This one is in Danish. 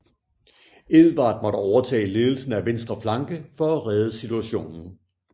Edvard måtte overtage ledelsen af venstre flanke for at redde situationen